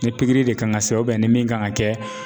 Ni pikiri de kan ka kɛ ni min kan ka kɛ